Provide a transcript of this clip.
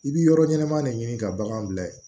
I bi yɔrɔ ɲɛnama de ɲini ka baganw bila yen